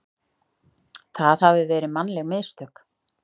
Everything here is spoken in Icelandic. það hafi verið mannleg mistök.